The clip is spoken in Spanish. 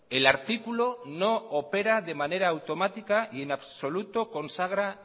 el artículo no opera de manera automática y en absoluto consagra